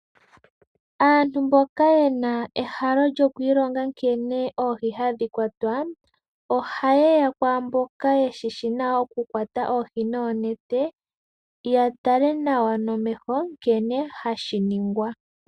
Aantu mboka yena ehalo lyoku ilonga nkene oohi hadhi kwatwa, oha yeya kwaa mboka ye shishi nawa oku kwata oohi noonete, ya tale nawa nomeho nkene hashi ningwa.